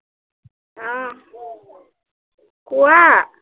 উম কোৱা